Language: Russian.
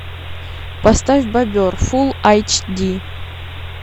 поставь бобер фулл айч ди